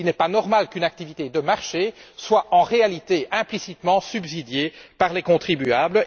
Il n'est pas normal qu'une activité de marché soit, en réalité, implicitement subventionnée par les contribuables.